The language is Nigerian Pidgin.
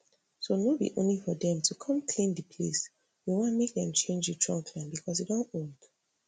so no be only for dem to come clean dis place we want dem to change di trunkline becos e don old